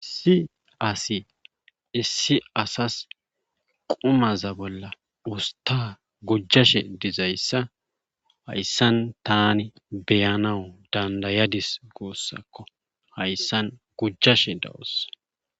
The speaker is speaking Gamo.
si asi issi asas qumaza bolla usta gujjashe dizayssa hayssan tani beyanawu dandayadis goossakko hayssan gujjashe dawos